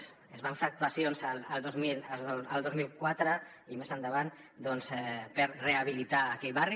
s’hi van fer actuacions el dos mil quatre i més endavant doncs per rehabilitar aquell barri